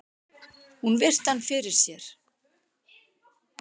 Hún virti hann fyrir sér.